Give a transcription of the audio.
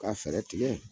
Ka fɛɛrɛ tigɛ